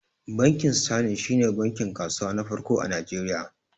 Bankin sterling shi ne bankin kasuwa na farko a Najeriya